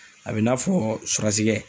A bɛ i n'a fɔ surasikɛ.